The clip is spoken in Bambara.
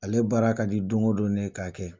Ale baara ka di don o don ne k'a kɛ.